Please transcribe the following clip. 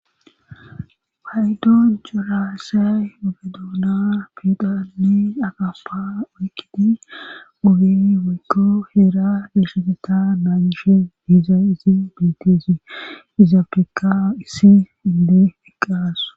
Paydon coraase obedoona pidale agappa wokkidi obeni woykko heera beesheseta naanishe diiza isi beeteesi izafeka issi inde eqqaaso.